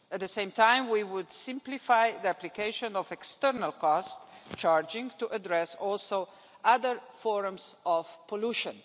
At the same time, we would simplify the application of external cost charging to address also other forms of pollution.